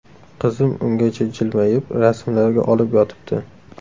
Qizim ungacha jilmayib, rasmlarga olib yotibdi.